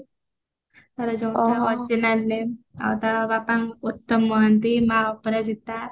ତାର ଯଉଟା original name ଆଉ ତା ବାପା ଉତ୍ତମ ମହାନ୍ତି ମା ଅପରାଜିତା